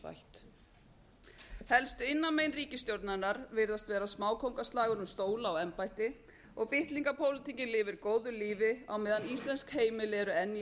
endurfætt helstu innanmein ríkisstjórnarinnar virðast vera smákóngaslagur um stóla og embætti og bitlingapólitíkin lifir góðu lífi á meðan íslensk heimili eru enn í